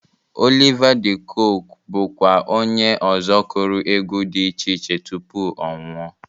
Oliva dị Kokwe bụkwa onye ọzọ kụrụ egwu dị iche iche tupu ọ nwụọ.